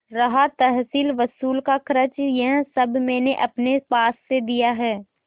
रहा तहसीलवसूल का खर्च यह सब मैंने अपने पास से दिया है